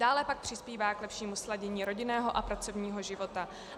Dále pak přispívá k lepšímu sladění rodinného a pracovního života.